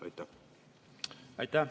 Aitäh!